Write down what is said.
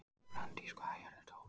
Branddís, hvað er jörðin stór?